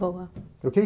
Boa.